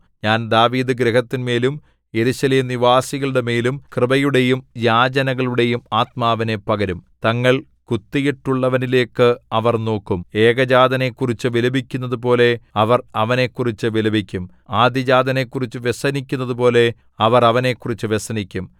ഞാൻ ദാവീദുഗൃഹത്തിന്മേലും യെരൂശലേംനിവാസികളുടെമേലും കൃപയുടെയും യാചനകളുടെയും ആത്മാവിനെ പകരും തങ്ങൾ കുത്തിയിട്ടുള്ളവനിലേക്കു അവർ നോക്കും ഏകജാതനെക്കുറിച്ചു വിലപിക്കുന്നതുപോലെ അവർ അവനെക്കുറിച്ചു വിലപിക്കും ആദ്യജാതനെക്കുറിച്ചു വ്യസനിക്കുന്നതുപോലെ അവർ അവനെക്കുറിച്ചു വ്യസനിക്കും